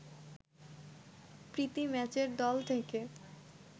প্রীতি ম্যাচের দল থেকে